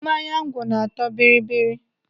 Mmanya ngwọ na-atọ bibiri.